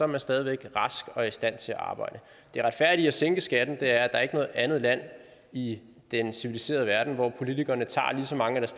man stadig væk rask og i stand til at arbejde det retfærdige i at sænke skatten er at noget andet land i den civiliserede verden hvor politikerne tager lige så mange af